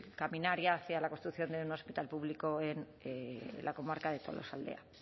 caminar ya hacia la construcción de un hospital público en la comarca de tolosaldea